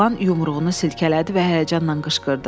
Oğlan yumruğunu silkələdi və həyəcanla qışqırdı.